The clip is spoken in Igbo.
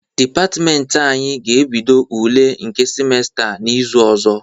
Dịpatịmentị anyị ga-ebido ule nke simesta a n'izu ọzọ.